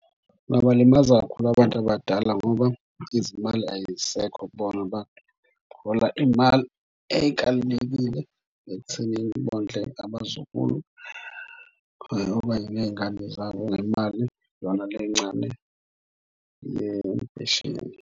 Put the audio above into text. Kungabalimaza kakhulu abantu abadala ngoba izimali ay'sekho kubona bantu bahola iy'mali ey'kalelekile ekuthenini bondle abazukulu ney'ngane zabo ngemali yona le encane yempesheni.